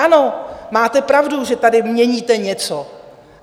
Ano, máte pravdu, že tady měníte něco.